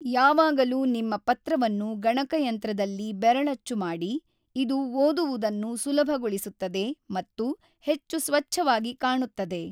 ಯಾವಾಗಲೂ ನಿಮ್ಮ ಪತ್ರವನ್ನು ಗಣಕಯಂತ್ರದಲ್ಲಿ ಬೆರಳಚ್ಚು ಮಾಡಿ, ಇದು ಓದುವುದನ್ನು ಸುಲಭಗೊಳಿಸುತ್ತದೆ ಮತ್ತು ಹೆಚ್ಚು ಸ್ವಚ್ಛವಾಗಿ ಕಾಣುತ್ತದೆ.